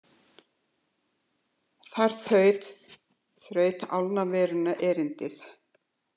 Þar þraut álnavöruna erindið.